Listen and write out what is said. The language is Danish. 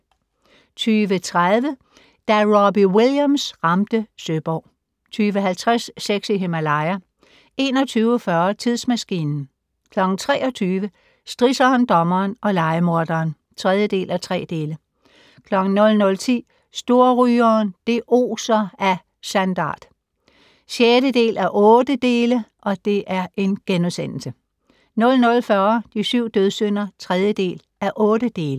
20:30: Da Robbie Williams ramte Søborg 20:50: Sex i Himalaya 21:40: Tidsmaskinen 23:00: Strisseren, dommeren og lejemorderen (3:3) 00:10: Storrygeren - det oser af sandart (6:8)* 00:40: De syv dødssynder (3:8)